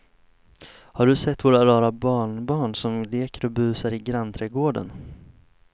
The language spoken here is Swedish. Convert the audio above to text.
Har du sett våra rara barnbarn som leker och busar ute i grannträdgården!